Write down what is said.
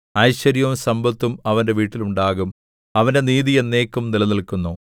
ഐശ്വര്യവും സമ്പത്തും അവന്റെ വീട്ടിൽ ഉണ്ടാകും അവന്റെ നീതി എന്നേക്കും നിലനില്ക്കുന്നു